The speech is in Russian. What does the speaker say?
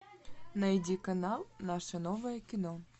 найди канал наше новое кино